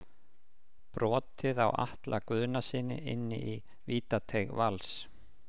Brotið á Atla Guðnasyni inni í vítateig Vals.